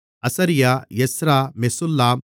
அசரியா Ezra மெசுல்லாம்